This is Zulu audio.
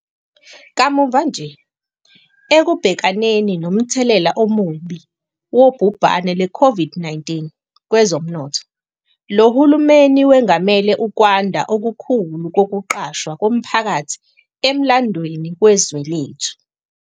Kamuva nje, ekubhekaneni nomthelela omubi wobhubhane lweCOVID-19 kwezomnotho, lo hulumeni wengamele ukwanda okukhulu kokuqashwa komphakathi emlandweni wezwe lethu.